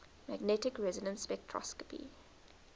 magnetic resonance spectroscopy